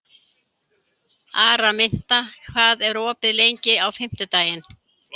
Araminta, hvað er opið lengi á fimmtudaginn?